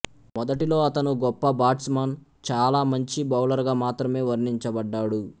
మొదటిలో అతను గొప్ప బాట్స్మన్ చాలా మంచి బౌలర్ గా మాత్రమే వర్ణించబడ్డాడు